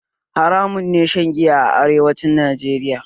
Haramun ne shan giya a arewacin Najeriya